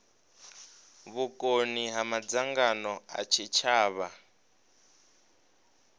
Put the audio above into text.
vhukoni ha madzangano a tshitshavha